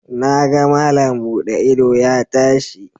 Na ga malam buɗe ido ya tashi